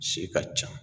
Si ka ca